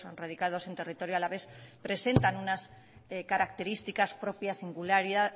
radicados en territorio alavés presentan unas características propias